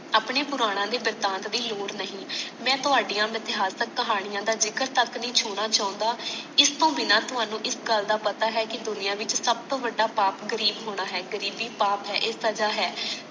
ਆਪਣੇ ਪੁਰਾਨਾ ਦੇ ਵਰਤਾਂਤ ਦੀ ਲੋੜ ਨਹੀਂ ਮੈਂ ਤੋਹਾੜੀਆਂ ਇਤਹਾਸਕ ਕਹਾਣੀਆਂ ਦਾ ਜਿਕਰ ਤਕ ਨਹੀਂ ਛੁਨਾ ਚਾਉਂਦਾ ਇਸ ਟੋਹ ਬਿਨਾ ਥੋਨੂੰ ਇਸ ਗੱਲ ਦਾ ਪਤਾ ਹੈ ਕਿ ਦੁਨੀਆਂ ਵਿੱਚ ਸਬ ਤੋਂ ਬੜਾ ਪਾਪ ਗਰੀਬ ਹੋਣਾ ਹੈ ਗ਼ਰੀਬੀ ਪਾਪ ਹੈ ਇਹ ਸਜਾ ਹੈ